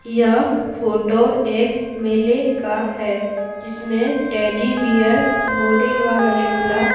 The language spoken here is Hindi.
यह फोटो एक मेले का है जिसमें टेडी बियर घोड़े वाला झूला --